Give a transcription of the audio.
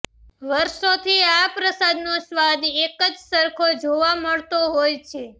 વર્ષોથી આ પ્રસાદનો સ્વાદ પણ એક સરખો જ જોવા મળતો હોય છે